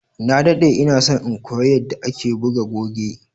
na daɗe inason in koya yadda ake buga goge